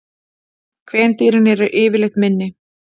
Kvendýrin eru yfirleitt minni.